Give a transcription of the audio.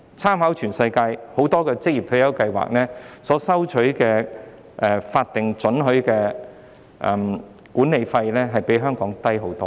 參考全世界很多職業退休計劃，這些計劃所收取的法定准許管理費均遠較香港的收費為低。